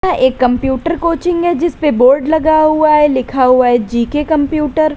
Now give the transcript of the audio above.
यह एक computer coaching है जिसपे बोर्ड लगा हुआ है लिखा हुआ है जी_के कंप्यूटर ।